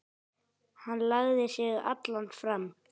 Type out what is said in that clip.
Hann lagði sig allan fram.